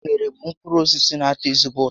Unere bụ mkpụrụ osisi na ato ezigbo ụtọ